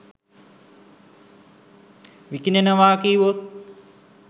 විකිණෙනවා කීවොත්?